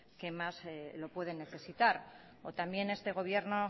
que más lo pueden necesitar o también este gobierno